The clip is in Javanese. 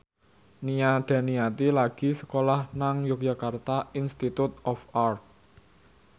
Nia Daniati lagi sekolah nang Yogyakarta Institute of Art